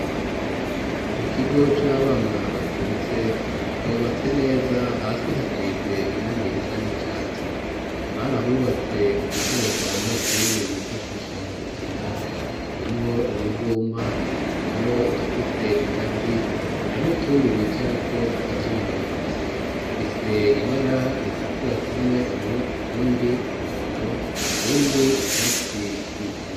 Mu kigo c'abana bacutse bubatse neza .Hasi hasize irangirisa n'icatsi barahubatse udukoresha abanyeshuri bifashisha mu gukina harimwo uruvuma harimwo udufise ingazi hari nutundi bicarako tukazunguruka tufise ibara ritukura tumwe utundi umuhondo tundi icatsi k'ibisi.